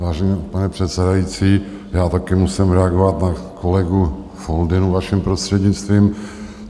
Vážený pane předsedající, já také musím reagovat na kolegu Foldynu, vaším prostřednictvím.